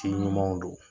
Ci ɲumanw don